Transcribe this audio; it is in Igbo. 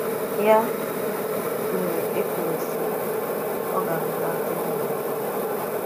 Yà mere e kwùrù sị̀: “À gà-agụ̀tà ǹtụ̀rụ̀ndụ̀ ábụ̀ọ̀.”